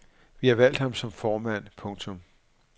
Vi har valgt ham som formand. punktum